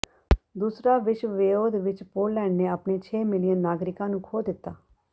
ਦੂਸਰਾ ਵਿਸ਼ਵਿਉੱਧ ਵਿੱਚ ਪੋਲੈਂਡ ਨੇ ਆਪਣੇ ਛੇ ਮਿਲਿਅਨ ਨਾਗਰਿਕਾਂ ਨੂੰ ਖੋਹ ਦਿੱਤਾ